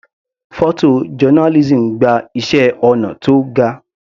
Photo journalism gba iṣẹ́ ọnà tó ga.